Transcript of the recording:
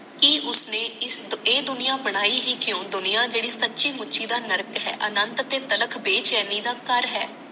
ਕਿ ਉਸਨੇ ਇਸ ਇਹ ਦੁਨੀਆ ਬਣਾਈ ਹੀ ਕਿਓਂ ਦੁਨੀਆਂ ਜੇਡੀ ਸਚੀ ਮੁਚੀ ਦਾ ਨਰਕ ਹੈ ਅਨੰਤ ਤੇ ਤਲਕ ਬੇਚੈਨੀ ਦਾ ਘਰ ਹੈ